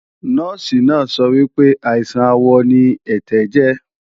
Nọ́ọ̀sì náà sọ wípé, àìsàn àwọ̀ ara ni ẹ̀tẹ̀ jẹ́